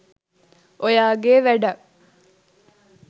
ඔයාගේ වැඩක්